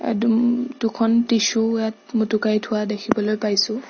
দু উম দুখন টিছোঁ ইয়াত মুটোকাই থোৱা দেখিবলৈ পাইছোঁ।